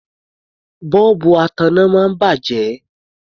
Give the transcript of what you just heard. Bọ́ọ̀bù ataná máa ń bàjẹ́.